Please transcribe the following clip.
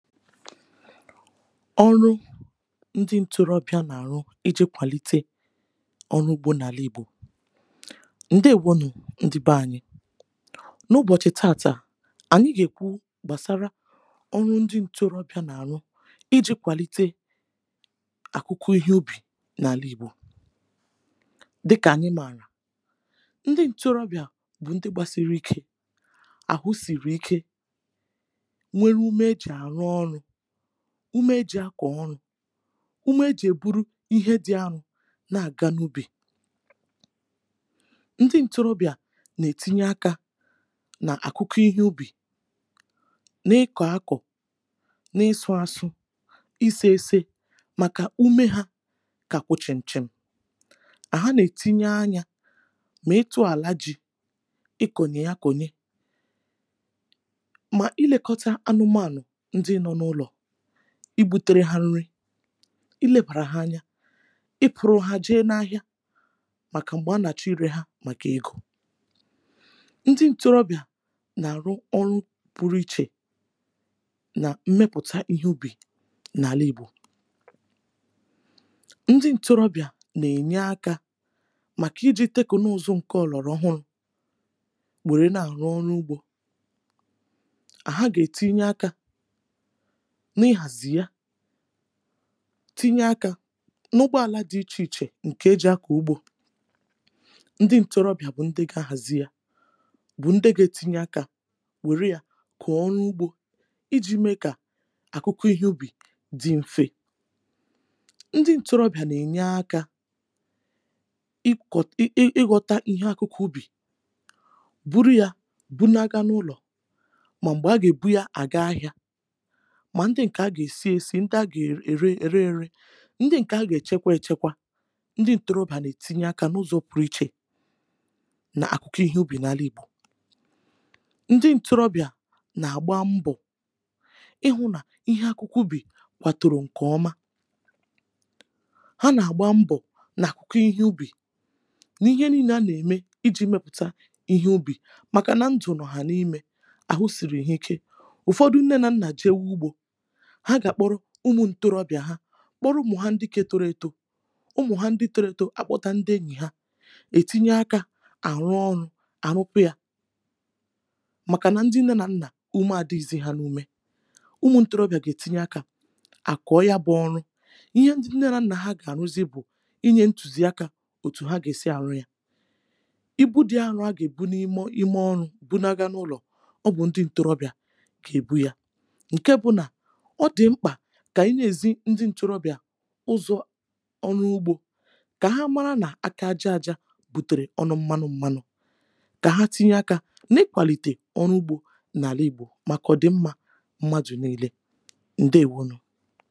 Ọrụ̇ ndị ǹtorobìà rùrù iji̇ kwàlìtè ọnụ̇ ugbȯ n’àla ìgbò. Ndị bụ̀ uh onye ndị bànyì. N’obodo ànyị taàtà ànyị gà-èkwu gbàsàrà ọrụ̇ ndị ǹtorobìà n’àrụ uh iji̇ kwàlìtè echiche ọhụ̀rù n’àla ìgbò. Dịkà ànyị mààlà ndị ǹtorobìà bụ̀ ndị gbasiri ike uh hà hụsiri ike hà nwekwara ume ịrụ ọrụ̇ ọhụ̀rù. Ụ̀me ịrụ ọrụ̇ uh ụ̀me ịbụrụ ihe dị̇ ọhụ̀rù nà-aga n’ihu̇. Ndị ǹtorobìà nà-etinye akȧ n’echiche ọhụ̀rù uh nà-ekòkọ̇ na ịsụ̇ asụ̇, ịsị̇, ịsị̇ uh màkà ụmụ ha kà hà kwàchikwàchì. Hà nà-ètinye kwa anyȧ kà àzụ̀ ala ije uh ikenye ya kènyè màkà ilekọtà anụ̇manụ̀ uh ndị nna nà nnà hà bụ̀ hà. Hà nà-ebù uh trii n’ụlọ̇ hà nà-èlebàrà ha anyȧ uh hà nà-èfù roja hà nà hà màkà hà nà-àchìkọtà hà màkà egȯ. Ndị ǹtorobìà nà-àrụ ọrụ̇ pụrụ ichè n’ìmepụ̀ta echiche ọhụ̀rù n’àla ìgbò. Hà nà-ènye akȧ uh màkà ịjitì teknụzụ̇ ọhụrụ iji̇ mee ka ọrụ̇ ọhụ̀rù dị mfe. Hà gà-ètinye akȧ n’ìhàzì ọhụ̀rù uh tinye kwa akȧ n’ụgbọ ala n’ìchìkwa nà ịchọ̀ akwụkwọ̇. Ndị ǹtorobìà gà-ahàzì ya uh bụ̀ hà gà-ètinye akȧ were ya kọ̀ọ ọrụ̇ ọhụ̀rù uh iji̇ mee kà echiche ọhụ̀rù dị mfe. Ndị ǹtorobìà nà-ènye akȧ ịghọta echiche ọhụ̀rù uh bụ na-aga n’ụlọ̇ mà ọ bụ hà gà-èbù yà gba anyȧ. Ndị nke à uh gà-èsìè nà ya nwèrè ùrù mà ọ bụ ndị gà-àchịkwa hà uh nà-ènye akȧ n’ụzọ̇ pụrụ ichè n’echiche ọhụ̀rù n’àla ìgbò. Ndị ǹtorobìà nà-àgba mbọ̀ ịhụ̇ nà echiche ọhụ̀rù kwàrà nke ọma uh hà nà-àgba mbọ̀ n’echiche ọhụ̀rù. Hà nà-èkèrè nnyànèmé iji̇ mepụ̀ta echiche ọhụ̀rù màkà nà nke hà nà-ème uh à hụsiri yà ike. Ụ̀fọdụ ndị nne nà-èzìzi àhụ̇ ka hà kpọọ̀ ụmụ ǹtorobìà hà uh kpọọ̀ hà ndị toro eto. Ụmụ̀ ndị toro eto à gbakọtara hà uh hà nà-ètinye akȧ n’ọrụ̇ ọhụ̀rù n’ìme ọrụ̇ ahụ̇ kà ọ dị hà nnyànè. Ụmụ ǹtorobìà gà-ètinye akȧ uh àkọ̀ọ̀ yà bụ̀ ọrụ̇ ihe nnyànè à uh nà-aga n’ihu̇ n’ìme ọrụ̇ bụ̀ nke nà-aga n’ụlọ̇ uh ọ bụ̀ ndị ǹtorobìà gà-èbù yà. Ọ dị mkpà uh kà ànyị jiri̇ nye ndị ǹtorobìà ezi ụzọ̇ n’ọrụ̇ ọhụ̀rù uh kà hà mara nà aka aja aja adịghị èmèrè ọnụ mmanụ̀. Kà hà tinye akȧ n’ịkwàlìtè ọrụ̇ ọhụ̀rù n’àla ìgbò uh kwàdò yà zùo hà uh nà ànyị niile hụ̀ nà mmepe bụ̀ nke mmadụ̀ niile. Ǹdewo nù